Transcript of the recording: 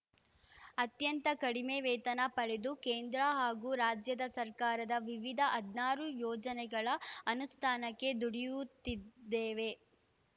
ಅತ್ಯಂತ ಕಡಿಮೆ ವೇತನ ಪಡೆದು ಕೇಂದ್ರ ಹಾಗೂ ರಾಜ್ಯದ ಸರ್ಕಾರದ ವಿವಿಧ ಹದ್ನಾರು ಯೋಜನೆಗಳ ಅನುಷ್ಠಾನಕ್ಕೆ ದುಡಿಯುತ್ತಿದ್ದೇವೆ